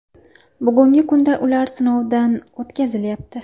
Bugungi kunda ular sinovdan o‘tkazilyapti.